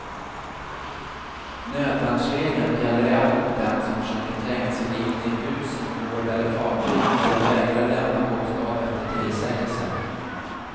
Nödvärnsregeln gäller även mot den som försöker tränga sig in i hus, gård eller fartyg eller vägrar lämna bostad efter tillsägelse.